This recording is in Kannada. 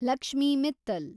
ಲಕ್ಷ್ಮಿ ಮಿತ್ತಲ್